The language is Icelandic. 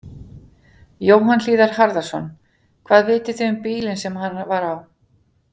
Jóhann Hlíðar Harðarson: Hvað vitið þið um bílinn sem hann var á?